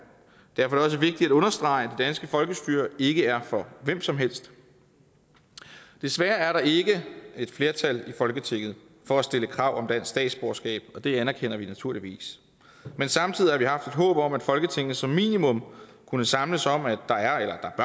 derfor er det også vigtigt at understrege at det danske folkestyre ikke er for hvem som helst desværre er der ikke et flertal i folketinget for at stille krav om statsborgerskab og det anerkender vi naturligvis men samtidig har vi håb om at folketinget som minimum kunne samles om at der